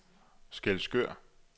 Skælskør